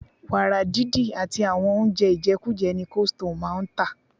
Wàrà didi àti àwọn oúnjẹ ijekuje ni coldstone máa ń tà.